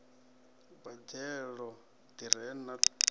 boḓelo ḓi re na ṱhungu